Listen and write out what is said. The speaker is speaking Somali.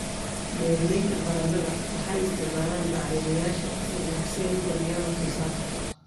Beeralayda baradhada waxay isticmaalaan bacrimiyeyaasha casriga ah si ay u kordhiyaan wax soo saarka.